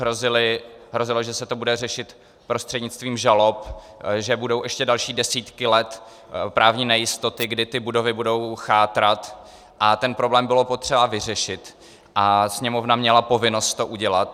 Hrozilo, že se to bude řešit prostřednictvím žalob, že budou ještě další desítky let právní nejistoty, kdy ty budovy budou chátrat, a ten problém bylo potřeba vyřešit a Sněmovna měla povinnost to udělat.